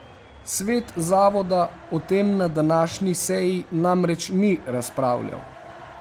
Svet zavoda o tem na današnji seji namreč ni razpravljal.